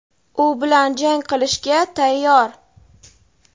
u bilan jang qilishga tayyor.